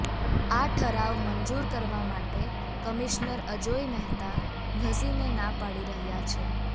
આ ઠરાવ મંજૂર કરવા માટે કમિશનર અજોય મહેતા ઘસીને ના પાડી રહ્યા છે